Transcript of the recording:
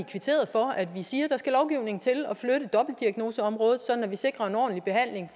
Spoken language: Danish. for at vi siger at der skal lovgivning til at flytte dobbeltdiagnoseområdet sådan at vi sikrer en ordentlig behandling